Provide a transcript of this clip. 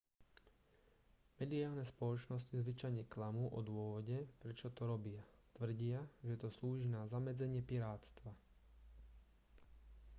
mediálne spoločnosti zvyčajne klamú o dôvode prečo to robia tvrdia že to slúži na zamedzenie pirátstva